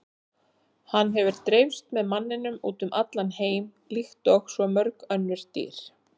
Hann hefur dreifst með manninum út um allan heim líkt og svo mörg önnur dýr.